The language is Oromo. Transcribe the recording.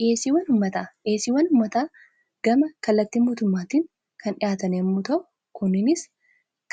hiheesiiwwan ummataa gama kallattiin mootummaatiin kan dhihaatan yemmuu ta'u kunninis